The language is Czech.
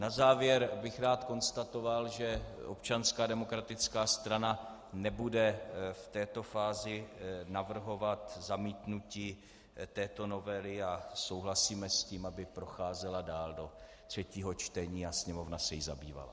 Na závěr bych rád konstatoval, že Občanská demokratická strana nebude v této fázi navrhovat zamítnutí této novely, a souhlasíme s tím, aby procházela dál do třetího čtení a Sněmovna se jí zabývala.